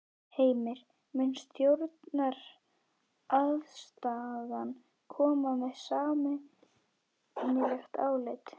Heimir: Mun stjórnarandstaðan koma með sameiginlegt álit?